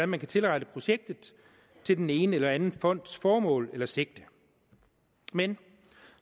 man kan tilrette projektet til den ene eller anden fonds formål eller sigte men